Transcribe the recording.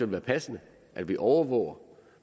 være passende at vi overvåger